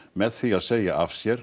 með því að segja af sér